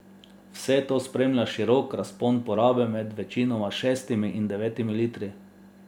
Vse to spremlja širok razpon porabe med večinoma šestimi in devetimi litri.